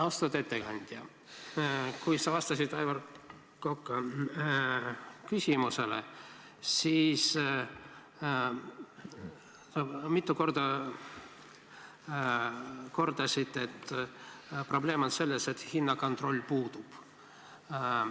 Austatud ettekandja, kui sa vastasid Aivar Koka küsimusele, siis sa mitu korda kordasid, et probleem on selles, et hinnakontroll puudub.